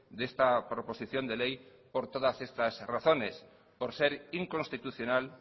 de esta proposición de ley por todas estas razones por ser inconstitucional